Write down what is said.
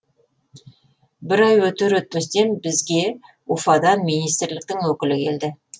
бір ай өтер өтпестен бізге уфадан министрліктің өкілі келді